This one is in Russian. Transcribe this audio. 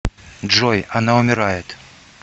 джой она умирает